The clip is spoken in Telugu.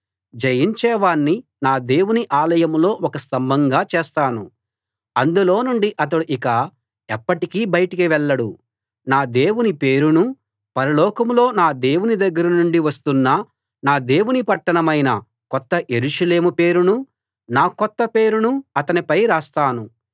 జయించేవాణ్ణి నా దేవుని ఆలయంలో ఒక స్తంభంగా చేస్తాను అందులో నుండి అతడు ఇక ఎప్పటికీ బయటకు వెళ్ళడు నా దేవుని పేరునూ పరలోకంలో నా దేవుని దగ్గర నుండి వస్తున్న నా దేవుని పట్టణమైన కొత్త యెరూషలేము పేరునూ నా కొత్త పేరునూ అతనిపై రాస్తాను